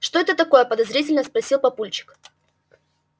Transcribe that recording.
это что такое подозрительно спросил папульчик